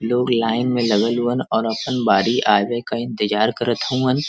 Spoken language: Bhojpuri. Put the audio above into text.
लोग लाइन में लगल हुवन और अपन बारी आवे क इंतजार करत हउवन।